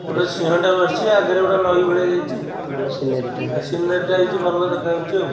ଗୋଟେ ସିଂହଟେ ବସିଛି ଆଗରେ ଗୋଟେ ନଈ ଭଳିଆ ଯାଇଛି ଭଲ ସୀନେରି ଟେ ସୀନେରୀ ଯାଇଚି ଭଲ ଦେଖା ଯାଉଛି ଆଉ --